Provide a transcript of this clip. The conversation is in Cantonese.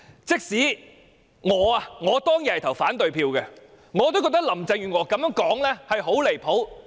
即使我當天投反對票，我也認為她的說法很離譜。